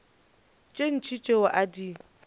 tše ntši tšeo a di